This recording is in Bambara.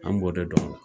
An b'o de dɔn